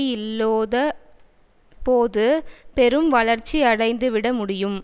இல்லோத போது பெரும் வளர்ச்சி அடைந்துவிட முடியும்